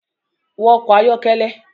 Wọ ọkọ ayọkẹlẹ